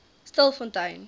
stilfontein